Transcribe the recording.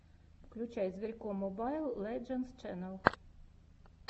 включай зверько мобайл лэджендс ченнал